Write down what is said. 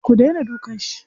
Ku daina dukan shi.